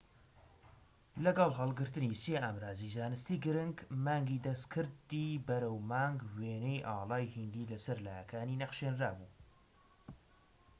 لەگەڵ هەلگرتنی سێ ئامڕازیی زانستیی گرنگ مانگی دەستکردی بەرەو مانگ وێنەی ئاڵای هیندی لەسەر لایەکانی نەخشێنرابوو